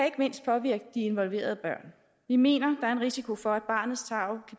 ikke mindst påvirke de involverede børn vi mener at er en risiko for at barnets tarv